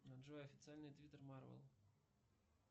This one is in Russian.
джой официальный твиттер марвел